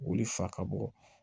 Olu fa ka bɔ